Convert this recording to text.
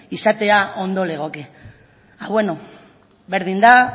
izatea ondo legoke berdin da